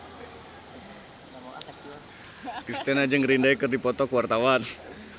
Kristina jeung Green Day keur dipoto ku wartawan